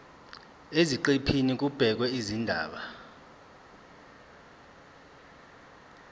eziqephini kubhekwe izindaba